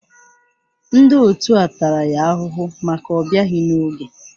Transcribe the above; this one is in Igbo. Ndị otu a tara ya ahụhụ maka ọbịaghi n'oge?